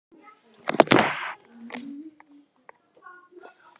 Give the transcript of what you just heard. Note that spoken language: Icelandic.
Karl Eskil Pálsson: Hverjir eru það sem eru að koma?